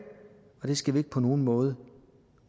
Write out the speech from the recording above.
og det skal vi ikke på nogen måde